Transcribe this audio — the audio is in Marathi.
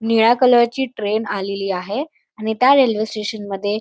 निळ्या कलर ची ट्रेन आलेली आहे आणि त्या रेल्वे स्टेशन मध्ये--